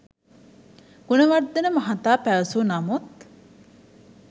ගුණවර්ධන මහතා පැවසූ නමුත්